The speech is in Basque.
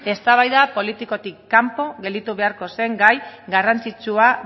eztabaida politikotik kanpo gelditu beharko zen gai garrantzitsua